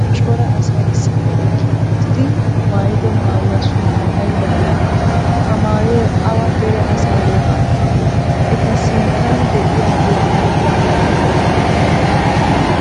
Cora asay issippe eqqi uttidi maayido maayuwa sunttay aybaa geetettii? Ha maayoyi awa dere asaa wogaa maayoo? Eta sinttan de'iyagee ayba kattee?